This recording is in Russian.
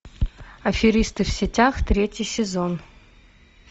аферисты в сетях третий сезон